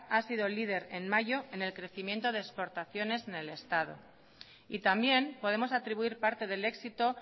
ha sido líder en mayor en el crecimiento de exportaciones en el estado y también podemos atribuir parte del éxito